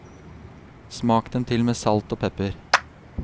Smak dem til med salt og pepper.